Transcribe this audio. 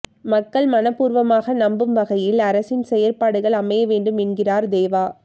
மக்கள் மனப்பூர்வமாக நம்பும் வகையில் அரசின் செயற்பாடுகள் அமைய வேண்டும் என்கிறார் தேவா